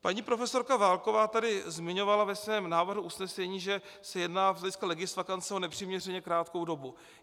Paní profesorka Válková tady zmiňovala ve svém návrhu usnesení, že se jedná z hlediska legisvakance o nepřiměřeně krátkou dobu.